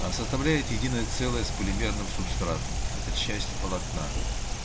аа составляете единое целое с полимерным субстратом это часть полотна